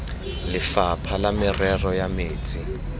lefapha la merero ya metsi